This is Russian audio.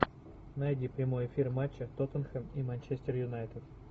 найди прямой эфир матча тоттенхэм и манчестер юнайтед